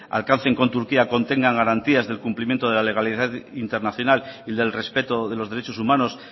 alcancen con turquía contengan garantías del cumplimiento de la legalidad internacional y del respeto de los derechos humanos